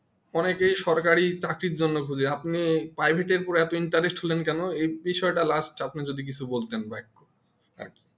অনেকেই সরকারি জন্য খুঁজে আপনি Priviat উপরে এতো interest হলেন কেন এই বিষয়টা last আপনি যদি আপনি কিছু বলতেন বা এখন আরকি